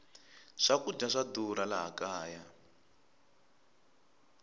swakudya swa durha laha kaya